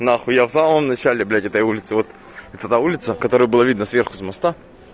нахуй я в самом начале блять этой улице вот это улица которую было видно сверху с моста